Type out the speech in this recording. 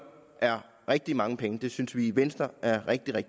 er rigtig mange penge og det synes vi i venstre er rigtig